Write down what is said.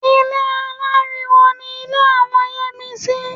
Ilé aláriwo ni ilé àwọn Yẹ́misí